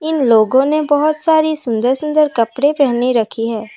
इन लोगों ने बहोत सारी सुंदर सुंदर कपड़े पहने रखी है।